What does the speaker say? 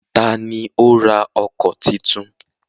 Ta ni ó ra ọkọ̀ titun?